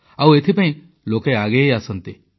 ଆଉ ଏଥିପାଇଁ ଲୋକେ ଆଗେଇ ଆସନ୍ତି